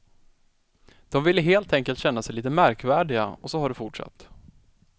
De ville helt enkelt känna sig lite märkvärdiga och så har det fortsatt.